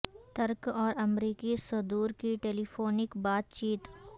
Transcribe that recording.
ترک اور امریکی صدور کی ٹیلی فونک بات چیت